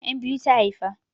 'Yan biyu ta haifa.